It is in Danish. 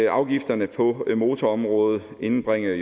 at afgifterne på motorområdet jo indbringer